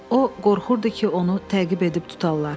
O qorxurdu ki, onu təqib edib tutarlar.